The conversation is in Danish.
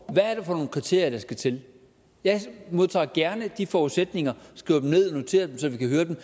hvad er det for nogle kriterier der skal til jeg modtager gerne de forudsætninger skriver dem ned og noterer dem så vi kan høre dem